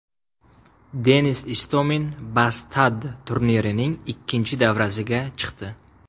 Denis Istomin Bastad turnirining ikkinchi davrasiga chiqdi.